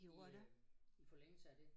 I øh i forlængelse af det